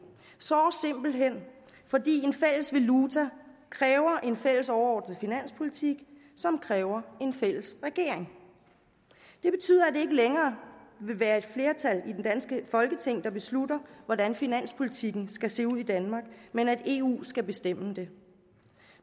simpelt hen fordi en fælles valuta kræver en fælles overordnet finanspolitik som kræver en fælles regering det betyder at det ikke længere vil være et flertal i det danske folketing der beslutter hvordan finanspolitikken skal se ud i danmark men at eu skal bestemme det